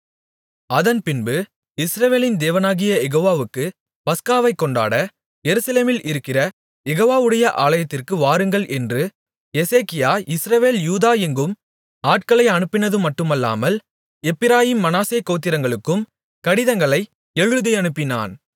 அதன்பின்பு இஸ்ரவேலின் தேவனாகிய யெகோவாவுக்கு பஸ்காவைக் கொண்டாட எருசலேமில் இருக்கிற யெகோவாவுடைய ஆலயத்திற்கு வாருங்கள் என்று எசேக்கியா இஸ்ரவேல் யூதா எங்கும் ஆட்களை அனுப்பினதுமட்டுமல்லாமல் எப்பிராயீம் மனாசே கோத்திரங்களுக்கும் கடிதங்களை எழுதியனுப்பினான்